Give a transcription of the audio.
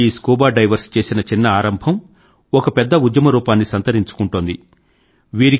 ఈ scuba divers చేసిన చిన్న ఆరంభం ఒక పెద్ద ఉద్యమ రూపాన్ని సంతరించుకుంటోంది